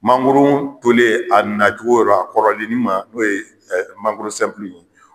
Mangoro tolen a na cogora kɔrɔlennin ma n'o ye mangoro sɛnpulu ye